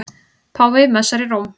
Páfi messar í Róm